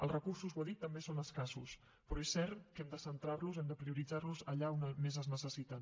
els recursos ho he dit també són escassos però és cert que hem de centrar los hem de prioritzar los allà on més es necessiten